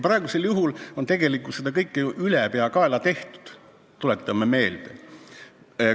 Praegu on tegelikult seda kõike ju ülepeakaela tehtud, tuletame meelde.